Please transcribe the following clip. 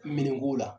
Minɛnko la